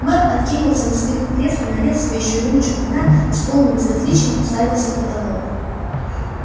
мэр откинулся на спинку кресла налил себе ещё рюмочку вина и с полным безразличием уставился в потолок